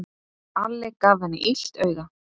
Alli gaf henni illt auga.